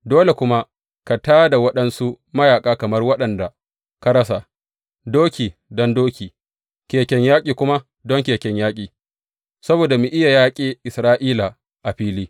Dole kuma ka tā da waɗansu mayaƙa kamar waɗanda ka rasa, doki don doki, keken yaƙi kuma don keken yaƙi, saboda mu iya yaƙe Isra’ila a fili.